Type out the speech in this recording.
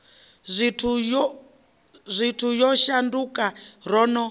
zwithu yo shanduka ro no